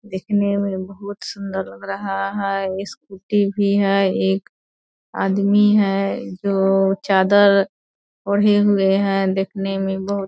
देखने मे बहुत सुंदर लग रहा है स्कूटी भी है एक आदमी है दो चादर ओढ़े हुए है देखने मे बहुत --